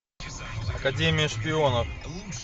академия шпионов